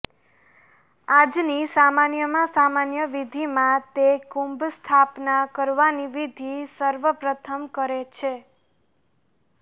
આજની સામાન્યમાં સામાન્ય વિધિમાં તે કુંભ સ્થાપના કરવાની વિધિ સર્વ પ્રથમ કરે છે